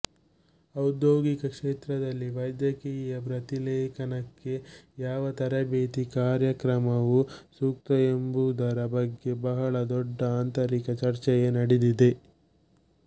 ಔದ್ಯೋಗಿಕ ಕ್ಷೇತ್ರದಲ್ಲಿ ವೈದ್ಯಕೀಯ ಪ್ರತಿಲೇಖನಕ್ಕೆ ಯಾವ ತರಬೇತಿ ಕಾರ್ಯಕ್ರಮವು ಸೂಕ್ತ ಎಂಬುದರ ಬಗ್ಗೆ ಬಹಳ ದೊಡ್ಡ ಆಂತರಿಕ ಚರ್ಚೆಯೇ ನಡೆದಿದೆ